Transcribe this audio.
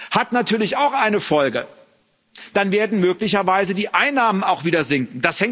Hat natürlich auch eine Folge Dann werden möglicherweise die Einnahmen auch wieder sinken.